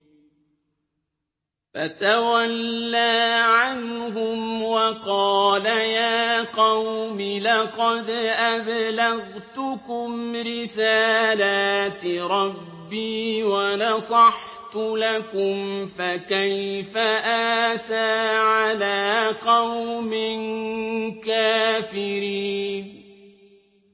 فَتَوَلَّىٰ عَنْهُمْ وَقَالَ يَا قَوْمِ لَقَدْ أَبْلَغْتُكُمْ رِسَالَاتِ رَبِّي وَنَصَحْتُ لَكُمْ ۖ فَكَيْفَ آسَىٰ عَلَىٰ قَوْمٍ كَافِرِينَ